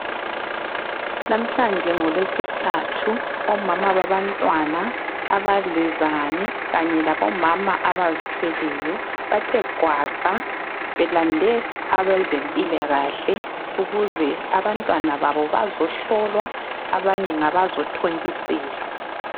Lamhlanje ngoLweSithathu omama babantwana, abadlezane kanye labomama abazithweleyo bathe gwaqa belande abezempilakahle ukuze abantwana babo bazohlolwa abanye ngabazothontiselwa.